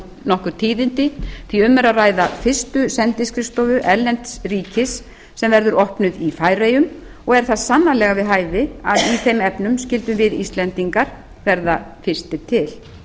tíðindi því um er að ræða fyrstu sendiskrifstofu erlendis ríkis sem verður opnuð í færeyjum og er það sannarlega við hæfi að í þeim efnum skyldum við íslendingar verða fyrstir til